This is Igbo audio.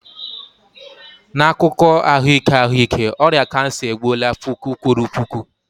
N'akụkọ ahụike ahụike, ọrịa kansa egbuola puku kwuru puku.